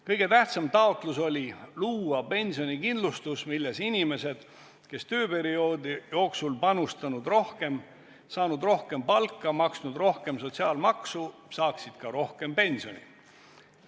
Kõige tähtsam taotlus oli luua pensionikindlustus, milles inimesed, kes tööperioodi jooksul on panustanud rohkem, saanud rohkem palka, maksnud rohkem sotsiaalmaksu, saaksid ka rohkem pensioni.